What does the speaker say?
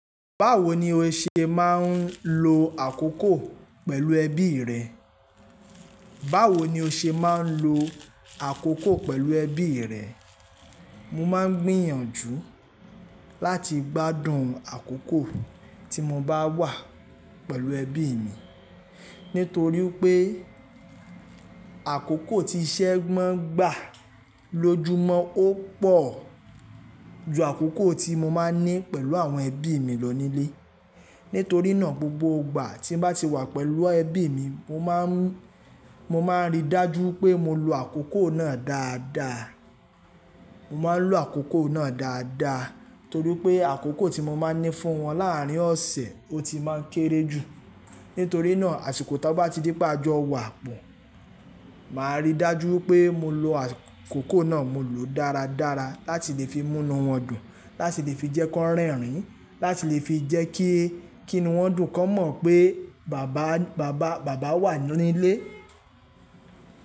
Báwo ni o ṣe máa ń lo àkókò pẹ̀lú ẹbí rẹ? Báwo ni o ṣe máa ń lo àkókò pẹ̀lú ẹbí rẹ? Mo máa ń gbìyànjú láti gbádùn àkókò tí mo bá wà pẹ̀lú ẹbí mi. Nítorí pé àkókò tí iṣẹ́ maa n gbà lójúmọ́ ó pọ̀ ju àkókò tí mo máa ń ní pẹ̀lú àwọn ẹbí mi lọ nílé. Nítorí náà gbogbo ìgbà tí n bá ti wà pẹ̀lú ẹbí mi, mo máa ń, mo máa ń rí dájú wipé mo lo àkókò náà dáadáa. Mo máa ń lo àkókò náà dáadáa torí pé àkókò tí mo máa ń ní fún wọn làárín ọ̀sẹ̀ ó ti máa ń kéré jù. Nítorí náà àsìkò ti a bá ti di pé a jọ wà pọ̀, màá rí dájú wipé mo lo àkókò náà. Mo lòó dáradára láti lè fi mú inu wọ́n dùn, láti lè fi jẹ́ kí wọ́n rẹ́rìn-ín, láti lè fi jẹ́ kí, kí inu wọ́n dùn ki won mọ̀ pé bàbá, bàbá, bàbá wà ní ilé.